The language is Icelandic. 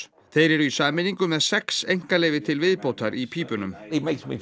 þeir eru í sameiningu með sex einkaleyfi til viðbótar í pípunum